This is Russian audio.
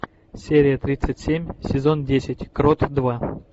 серия тридцать семь сезон десять крот два